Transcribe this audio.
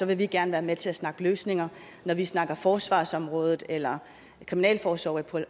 vi gerne være med til at snakke løsninger når vi snakker om forsvarsområdet eller kriminalforsorgen